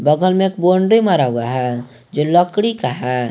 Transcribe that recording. बगल में एक बाउंड्री मारा हुआ है जो लकड़ी का है।